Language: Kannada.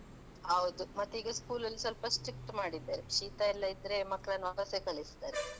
ಹೌದು ಮತ್ತೆ ಈಗ school ಅಲ್ಲಿ ಸ್ವಲ್ಪ strict ಮಾಡಿದ್ದಾರೆ, ಶೀತ ಎಲ್ಲಾ ಇದ್ರೆ ಮಕ್ಳನ್ನ ವಾಪಸ್ಸೆ ಕಳಿಸ್ತಾರೆ .